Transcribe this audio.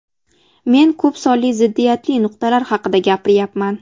Men ko‘p sonli ziddiyatli nuqtalar haqida gapiryapman.